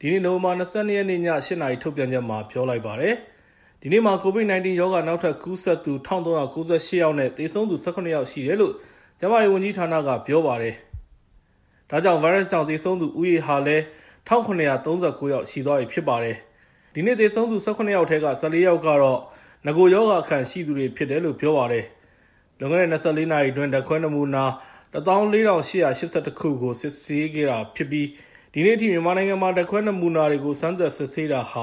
ဒီနေ့ နိုဝင်ဘာ ၂၂ ရက်နေ့ ည ၈ နာရီ ထုတ်ပြန်ချက်မှာ ပြောလိုက်ပါတယ်။ ဒီနေ့မှာ COVID-19 ရောဂါ နောက်ထပ်ကူးစက်သူ ၁,၃၉၈ ယောက်နဲ့ သေဆုံးသူ ၁၇ ယောက်ရှိတယ်လို့ ကျန်းမာရေးဝန်ကြီးဌာနက ပြောပါတယ်။ ဒါကြောင့် ဗိုင်းရပ်စ်ကြောင့် သေဆုံးသူဦးရေဟာလည်း ၁,၇၃၉ ယောက်ရှိသွားပြီ ဖြစ်ပါတယ်။ ဒီနေ့သေဆုံးတဲ့သူ ၁၇ ယောက်ထဲက ၁၄ ယောက်ကတော့ နဂိုရောဂါအခံရှိသူတွေ ဖြစ်တယ်လို့ ပြောပါတယ်။ လွန်ခဲ့တဲ့ ၂၄ နာရီအတွင်း ဓာတ်ခွဲနမူနာ ၁၄,၈၈၁ ခုကို စမ်းသပ်စစ်ဆေးခဲ့တာဖြစ်ပြီး ဒီနေ့အထိ မြန်မာနိုင်ငံမှာ ဓာတ်ခွဲနမူနာတွေကို စမ်းသပ်စစ်ဆေးတာ ၁